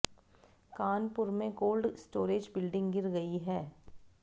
कानपुर में cold storage building गिर गई है